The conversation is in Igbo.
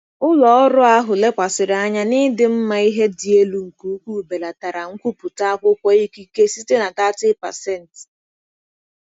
Ụlọ ọrụ ahụ lekwasịrị anya n'ịdị mma ihe dị elu nke ukwuu belatara nkwupụta akwụkwọ ikike site na 30%.